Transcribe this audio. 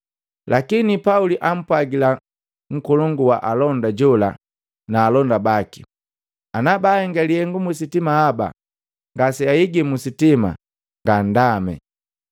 Lakini Pauli ampwagila nkolongu wa alonda jola na alonda baki, “Ana baahenga lihenga musitima haba ngase ahigi musitima, nganndame.”